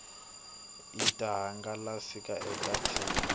wu ta hangalasiwa eka tin